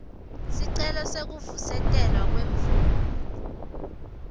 sicelo sekuvusetelwa kwemvumo